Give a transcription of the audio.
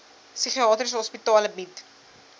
psigiatriese hospitale bied